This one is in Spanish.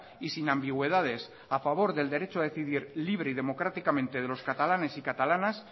y sin ambigüedades a favor del derecho a decidir libre y democráticamente de los catalanes y catalanas